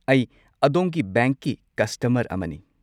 ꯑꯩ ꯑꯗꯣꯝꯒꯤ ꯕꯦꯡꯛꯀꯤ ꯀꯁꯇꯃꯔ ꯑꯃꯅꯤ꯫